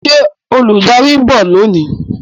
Ṣé olùdarí ń bọ̀ lónìí?